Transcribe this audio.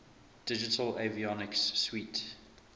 digital avionics suite